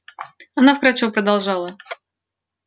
она вкрадчиво продолжала